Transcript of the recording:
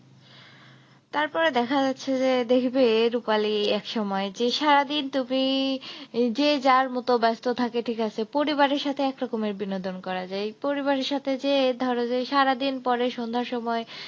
তারপরে দেখা যাচ্ছে যে দেখবে রুপালী একসময় যে সারাদিন তুমি যে যার মত ব্যস্ত থাকে ঠিক আছে, পরিবারের সাথে একরকমের বিনোদন করা যায়। পরিবারের সাথে যে ধর যে সারাদিন পরে সন্ধার সময়